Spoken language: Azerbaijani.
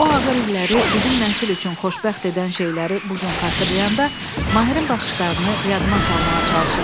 O ağır illəri bizim nəsil üçün xoşbəxt edən şeyləri bu gün xatırlayanda Mahirin baxışlarını yadıma salmağa çalışıram.